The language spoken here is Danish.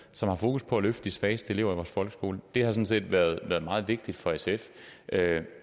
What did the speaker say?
som har fokus på at løfte de svageste elever i vores folkeskole det har sådan set været meget vigtigt for sf